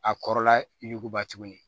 A kɔrɔla yuguba tuguni